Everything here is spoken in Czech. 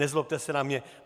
Nezlobte se na mě.